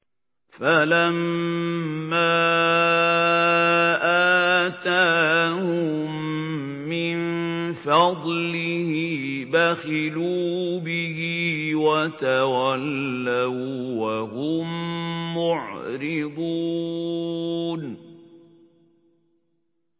فَلَمَّا آتَاهُم مِّن فَضْلِهِ بَخِلُوا بِهِ وَتَوَلَّوا وَّهُم مُّعْرِضُونَ